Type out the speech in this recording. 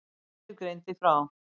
Vísir greindi frá.